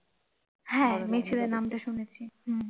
হ্যাঁ মেচেদা নামটা শুনেছি হম